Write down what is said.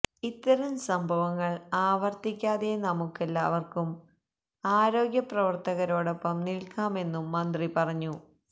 ഇത്തരം സംഭവങ്ങൾ ആവർത്തിക്കാതെ നമുക്കെല്ലാവർക്കും ആരോഗ്യ പ്രവർത്തകരോടൊപ്പം നിൽക്കാമെന്നും മന്ത്രി പറഞ്ഞു